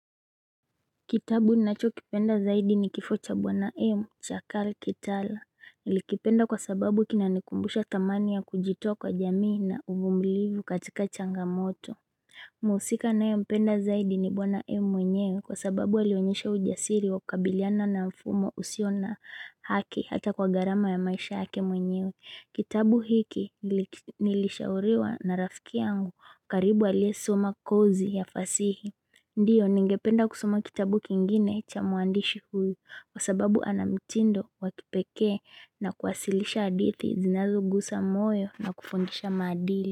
Kitabu ninachokipenda zaidi ni Kifo cha Bwana M cha Cal Kitala. Nilikipenda kwa sababu kinanikumbusha dhamani ya kujitoa kwa jamii na uvumilivu katika changamoto. Mhusika ninayempenda zaidi ni Bwana M mwenyewe, kwa sababu alionyesha ujasiri wa kukabiliana na mfumo usio na haki hata kwa gharama ya maisha yake mwenyewe. Kitabu hiki nilishauriwa na rafiki yangu karibu aliyesuma kozi ya fasihi. Ndio ningependa kusoma kitabu kingine cha mwandishi huyu, Kwa sababu ana mitindo wa kipekee na kuwasilisha hadithi zinazogusa moyo na kufundisha madili.